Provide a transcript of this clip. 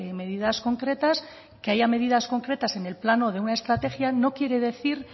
medidas concretas que haya medidas concretas en el plano de una estrategia no quiere decir